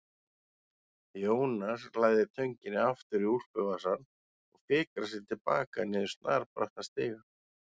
Jónas læðir tönginni aftur í úlpuvasann og fikrar sig til baka niður snarbrattan stigann.